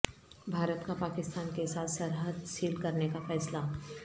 بھارت کا پاکستان کیساتھ سرحد سیل کرنے کا فیصلہ